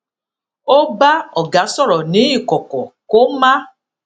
ó bá ọga sòrò ní ikọkọ kó má